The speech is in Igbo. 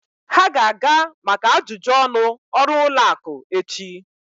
Ha ga-aga maka ajụjụ ọnụ ọrụ ụlọ akụ echi.